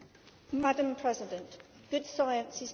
Madam President, good science is